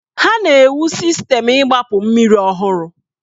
Ha na-ewu Sistemu igbapu mmiri ọhụrụ.